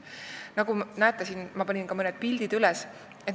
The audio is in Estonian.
Nagu näete, ma panin siia ka mõningad pildid üles.